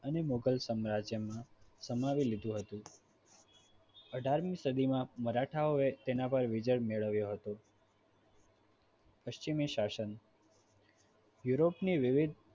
અને મોઘલ સામ્રાજ્યમાં સમાવી લીધું હતું અઢાર મી સદીમાં મરાઠાઓએ તેના પર વિજય મેળવ્યો હતો પશ્ચિમી શાસન યુરોપની વિવિધ